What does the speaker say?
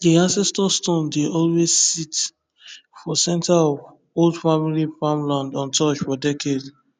the ancestor stone dey always sit for center of old family farmland untouched for decades